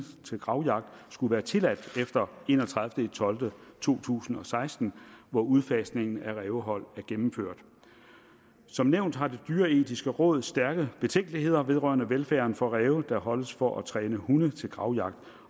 til gravjagt skulle være tilladt efter en og tredive tolv 2016 hvor udfasningen af rævehold er gennemført som nævnt har det dyreetiske råd stærke betænkeligheder vedrørende velfærden for ræve der holdes for at træne hunde til gravjagt